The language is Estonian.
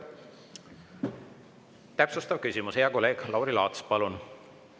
Täpsustav küsimus, hea kolleeg Lauri Laats, palun!